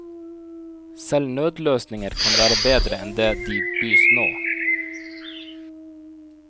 Selv nødløsninger kan være bedre enn det de bys nå.